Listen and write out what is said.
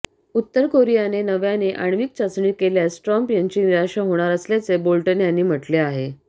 उत्तर कोरियाने नव्याने आण्विक चाचणी केल्यास ट्रम्प यांची निराशा होणार असल्याचे बोल्टन यांनी म्हटले आहे